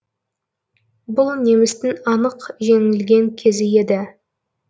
бұл немістің анық жеңілген кезі еді